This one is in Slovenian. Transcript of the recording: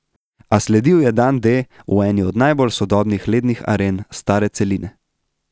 A sledil je dan D v eni od najbolj sodobnih lednih aren stare celine.